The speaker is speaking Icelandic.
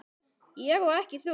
Ég og ekki þú.